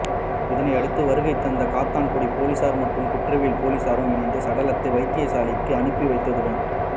இதனை அடுத்து வருகை தந்த காத்தான்குடி பொலிஸார் மற்றும் குற்ற தடயவியல் பொலிஸாரும் இணைத்து சடலத்தை வைத்தியசாலைகளுக்கு அனுப்பி வைத்துள்ளதுடன்